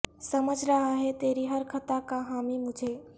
سمجھ رہا ہے تری ہر خطا کا حامی مجھے